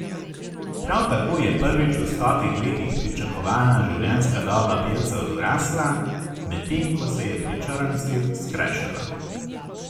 Prav tako je prvič v stotih letih pričakovana življenjska doba belcev rasla, medtem ko se je pri črncih skrajšala.